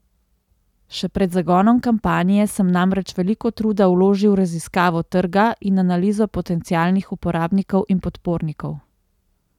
Še pred zagonom kampanje sem namreč veliko truda vložil v raziskavo trga in analizo potencialnih uporabnikov in podpornikov.